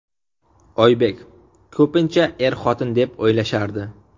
Oybek: Ko‘pincha er-xotin deb o‘ylashardi.